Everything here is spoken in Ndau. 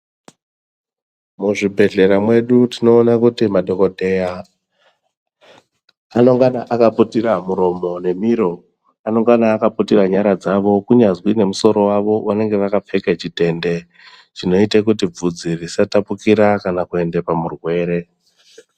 Muzvibhedhlera medu tinoona kuti madhokodheya anongana akaputira muromo nemiro anongana akaputira nyara dzawo kunyazi nemusoro wavo unenge wakapfeka chitendw chinoitwa kuti vhudzi risatapukira kana kuenda pamurwere.